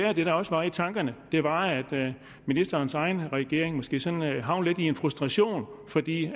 at det der også var i tankerne var at ministerens egen regering måske sådan havnede i en frustration fordi